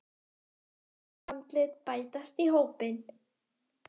Fleiri andlit bætast í hópinn.